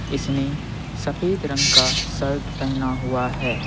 इसने सफेद रंग का शर्ट पहना हुआ है।